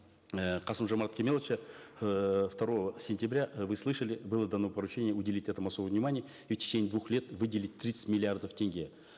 э касым жомарта кемелевича эээ второго сентября э вы слышали было дано поручение уделить этому особое внимание и в течение двух лет выделить тридцать миллиардов тенге